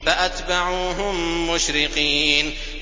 فَأَتْبَعُوهُم مُّشْرِقِينَ